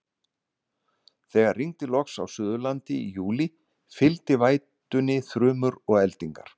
Þegar rigndi loks á Suðurlandi í júlí, fylgdu vætunni þrumur og eldingar.